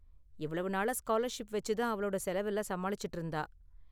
இவ்வளவு நாளா ஸ்காலர்ஷிப் வெச்சு தான் அவளோட செலவெல்லாம் சமாளிச்சுட்டு இருந்தா.